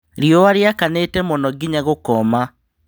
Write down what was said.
Riũa riakanĩte mũno ginya gũkoma.